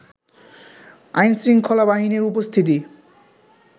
আইনশৃঙ্খলা বাহিনীর উপস্থিতি